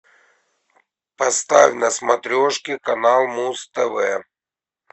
поставь на смотрешке канал муз тв